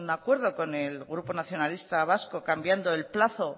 acuerdo con el grupo nacionalistas vascos cambiando el plazo